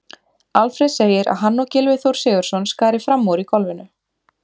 Alfreð segir að hann og Gylfi Þór Sigurðsson skari fram úr í golfinu.